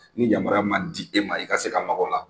Ni yamaruya ma di e ma i ka se ka maka o la,